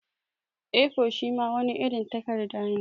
A4 shima wani irin takadda ne.